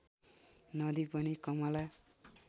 नदी पनि कमला